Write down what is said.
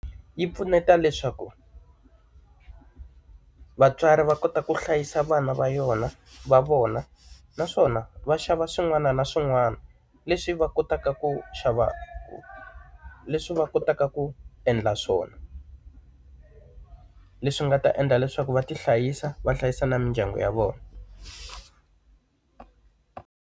Yi pfuneta leswaku, vatswari va kota ku hlayisa vana va yona va vona naswona va xava swin'wana na swin'wana leswi va kotaka ku xava leswi va kotaka ku endla swona. Leswi nga ta endla leswaku va ti hlayisa va hlayisa na mindyangu ya vona.